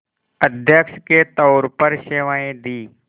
अध्यक्ष के तौर पर सेवाएं दीं